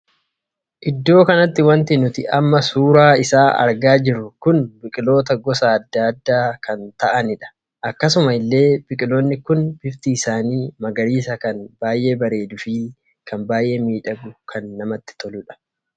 Iddoo kanatti wanti nuti amma suuraa isaa argaa jirru kun biqiloota gosa addaa addaa kan taa'aniidha. akksuma illee biqiloonni kun bifti isaanii magariisa kan baay'ee bareeduu fi kan baay'ee miidhaguu kan namatti toluudha.